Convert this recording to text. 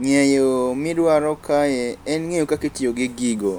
Ng'eyo midwaro kae en ng'eyo kakitiyo gi gigo.